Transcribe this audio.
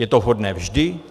Je to vhodné vždy?